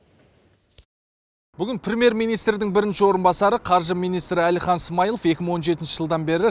бүгін премьер министрдің бірінші орынбасары қаржы министрі әлихан смайылов екі мың он жетінші жылдан бері